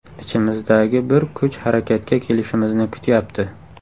Ichimizdagi bir kuch harakatga kelishimizni kutyapti.